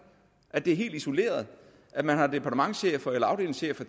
at det er helt isoleret at man har departementschefer eller afdelingschefer